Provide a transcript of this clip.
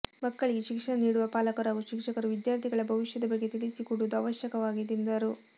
ಮಕ್ಕಳಿಗೆ ಶಿಕ್ಷಣ ನೀಡುವ ಪಾಲಕರು ಹಾಗೂ ಶಿಕ್ಷಕರು ವಿದ್ಯಾರ್ಥಿಗಳ ಭವಿಷ್ಯದ ಬಗ್ಗೆ ತಿಳಿಸಿಕೊಡುವುದು ಅವಶ್ಯವಾಗಿದೆ ಎಂದರು